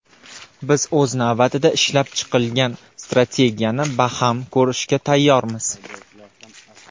Biz, o‘z navbatida, ishlab chiqilgan strategiyani baham ko‘rishga tayyormiz.